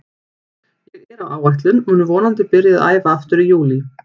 Ég er á áætlun og mun vonandi byrja að æfa aftur í júlí.